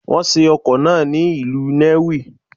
Wọ́n ṣe ọkọ̀ náà ni ìlú Nnewi.